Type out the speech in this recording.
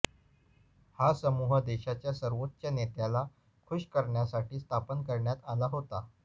हा समूह देशाच्या सर्वोच्च नेत्याला खूष करण्यासाठी स्थापन करण्यात आला होता